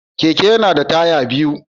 Keke yana da taya biyu.